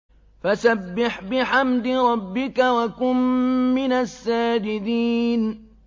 فَسَبِّحْ بِحَمْدِ رَبِّكَ وَكُن مِّنَ السَّاجِدِينَ